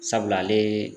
Sabula ale ye